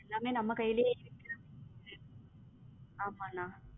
எல்லாமே நம்ம கைலே இருக்கு ஆமா அண்ணா